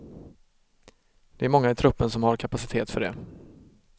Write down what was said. Det är många i truppen som har kapacitet för det.